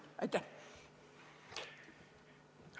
Aitäh!